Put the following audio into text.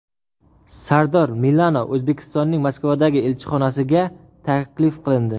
Sardor Milano O‘zbekistonning Moskvadagi elchixonasiga taklif qilindi.